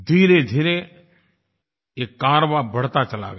धीरेधीरे ये कारवाँ बढ़ता चला गया